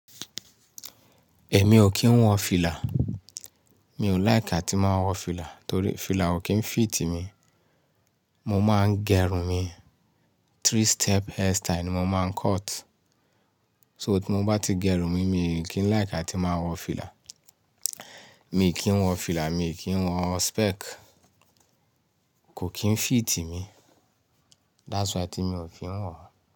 Èmi ò kí ń wọ fìlà. Mi ò like àti máa wọ fìlà torí fìlà ò kí ń fit mi. Mo máa ń gẹrun mi, three step hairstyle ni mo máa ń cut. So tí mo bá ti gẹrun mi, mi ò kí ń like àti máa wọ fìlà. Mi kì wọ fìlà mi kì wọ spec kò kín fit mi that's why tí mi ò kí ń wọ̀.